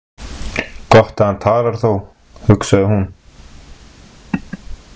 Gott að hann talar þó, hugsaði hún.